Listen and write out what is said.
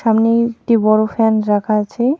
সামনে একটি বড়ো ফ্যান রাখা আছে.